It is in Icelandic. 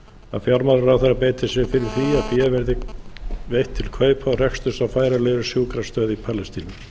að fjármálaráðherra beiti sér fyrir því að fé verði veitt til kaupa og reksturs á færanlegri sjúkrastöð í palestínu